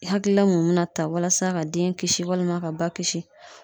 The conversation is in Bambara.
I hakilila mun be na ta walasa ka den kisi walima ka ba kisi